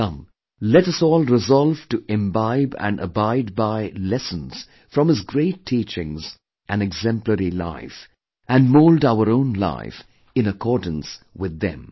Come, let us all resolve to imbibe & abide by lessons from his great teachings & exemplary life and mould our own life in accordance with them